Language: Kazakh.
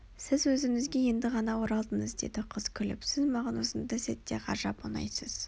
сіз өзіңізге енді ғана оралдыңыз деді қыз күліп сіз маған осындай сәтте ғажап ұнайсыз